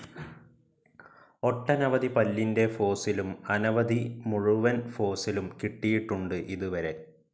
ഒട്ടനവധി പല്ലിൻ്റെ ഫോസിലും അനവധി മുഴുവൻ ഫോസിലും കിട്ടിയിട്ടുണ്ട് ഇതുവരെ.